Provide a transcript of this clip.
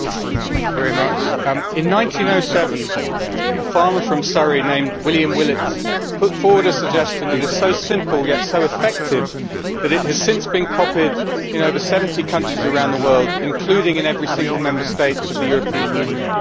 Madam President, in 1907 a farmer from Surrey named William Willets put forward a suggestion that is so simple, yet so effective, that it has since been copied in over 70 countries around the world, including in every single Member State of the European Union.